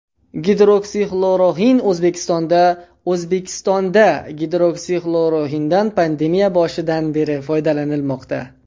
Gidroksixloroxin O‘zbekistonda O‘zbekistonda gidroksixloroxindan pandemiya boshidan beri foydalanilmoqda.